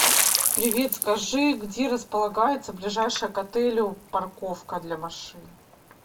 привет скажи где располагается ближайшая к отелю парковка для машин